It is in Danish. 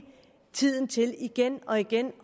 tiden til igen og igen